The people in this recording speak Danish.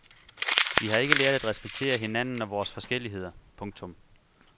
Vi har ikke lært at respektere hinanden og vores forskelligheder. punktum